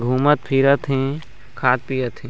घुमत-फिरत हे खात-पियत हे।